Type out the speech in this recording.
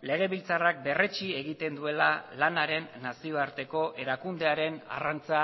legebiltzarrak berretsi egiten duela lanaren nazioarteko erakundearen arrantza